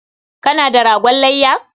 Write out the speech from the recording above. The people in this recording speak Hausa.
Kana da ragon layya?